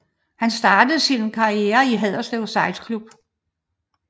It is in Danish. Han startede sin karriere i Haderslev sejlklub